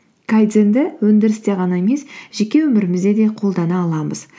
өндірісте ғана емес жеке өмірімізде де қолдана аламыз